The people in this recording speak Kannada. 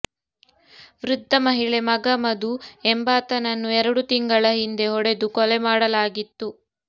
ವೃದ್ಧ ಮಹಿಳೆ ಮಗ ಮಧು ಎಂಬಾತನನ್ನು ಎರಡು ತಿಂಗಳ ಹಿಂದೆ ಹೊಡೆದು ಕೊಲೆ ಮಾಡಲಾಗಿತ್ತು